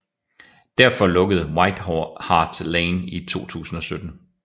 Derfor lukkede White Hart Lane i 2017